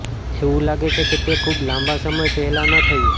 એવું લાગે છે કે તે ખૂબ લાંબા સમય પહેલા ન થયું